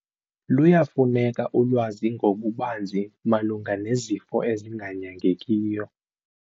Luyafuneka ulwazi ngokubanzi malunga nezifo ezinganyangekiyo.